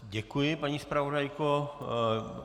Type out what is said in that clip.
Děkuji, paní zpravodajko.